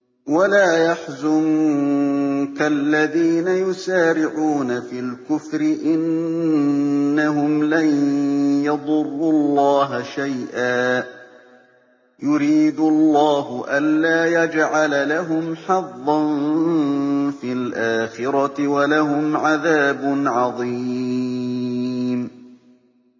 وَلَا يَحْزُنكَ الَّذِينَ يُسَارِعُونَ فِي الْكُفْرِ ۚ إِنَّهُمْ لَن يَضُرُّوا اللَّهَ شَيْئًا ۗ يُرِيدُ اللَّهُ أَلَّا يَجْعَلَ لَهُمْ حَظًّا فِي الْآخِرَةِ ۖ وَلَهُمْ عَذَابٌ عَظِيمٌ